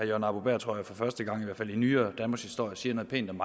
jørgen arbo bæhr jeg tror for første gang i hvert fald i nyere danmarkshistorie siger noget pænt om